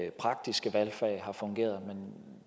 i praktiske valgfag har fungeret men